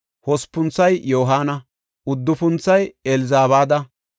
hospunthoy Yohaana; uddufunthoy Elzabaada;